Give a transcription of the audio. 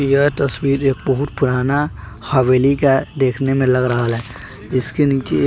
यह तस्वीर एक बहुत पुराना हवेली का देखने में लग रहा है इसके नीचे।